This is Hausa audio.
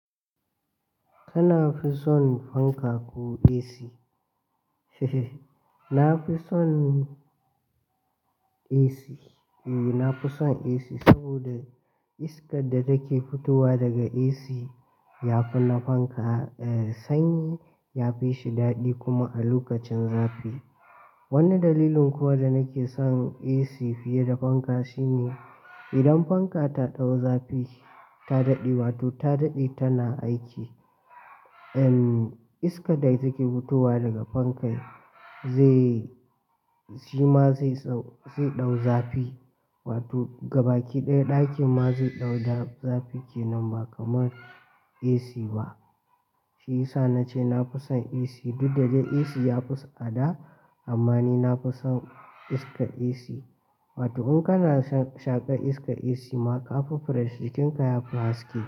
Kana fi so fanka ko AC? Na fi son AC, ee na fi son AC saboda iskar da take fitowa daga AC ya fi na fanka, eh sanyi ya fi shi daɗi kuma a lokacin zafi. Wani dalilin kuwa da nake son AC fiye da fanka shine idan fanka ta ɗau zafi ta daɗe, wato ta daɗe tana aiki, en iskar da take fitowa daga fankan zai shima zai sau-- zai dau zafi wato gabaki ɗaya ɗakin ma zai dau zafi kenan ba kamar AC ba. Shi yasa nace nafi son AC, duk da dai AC ya fi tsada amma ni nafi son iskar AC. Wato in kana shaƙa iskar AC ma ƙafa fresh, jikinka ya fi haske.